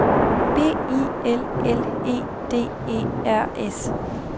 B I L L E D E R S